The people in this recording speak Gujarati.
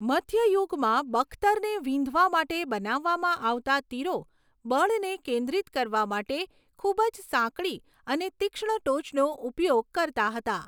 મધ્ય યુગમાં બખ્તરને વીંધવા માટે બનાવવામાં આવતા તીરો બળને કેન્દ્રિત કરવા માટે ખૂબ જ સાંકડી અને તીક્ષ્ણ ટોચનો ઉપયોગ કરતા હતા.